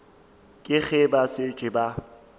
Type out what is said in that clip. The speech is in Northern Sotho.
ke ge ba šetše ba